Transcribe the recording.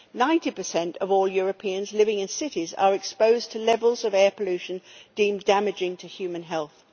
Ninety percent of all Europeans living in cities are exposed to levels of air pollution deemed damaging to human health.